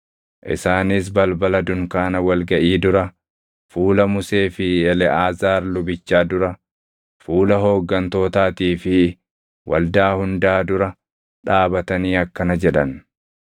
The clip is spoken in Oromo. Isaanis balbala dunkaana wal gaʼii dura, fuula Musee fi Eleʼaazaar lubichaa dura, fuula hooggantootaatii fi waldaa hundaa dura dhaabatanii akkana jedhan;